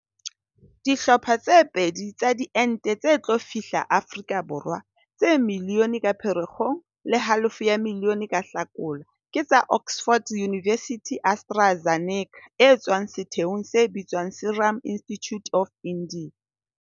Dihlopha tse pedi tsa diente tse tlo fihla Afrika Borwa, tse miliyone ka Phere kgong le halofo ya miliyone ka Hlakola, ke tsa Oxford University-AstraZeneca e tswang setheong se bitswang Serum Institute of India.